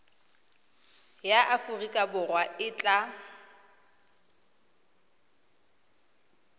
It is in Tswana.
ya aforika borwa e tla